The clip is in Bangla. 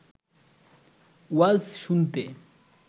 ওয়াজ শুনতে